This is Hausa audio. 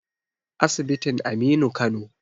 asibitin Aminu Kano